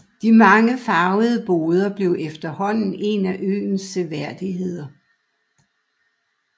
De mange farvede boder blev efterhånden en af øens seværdigheder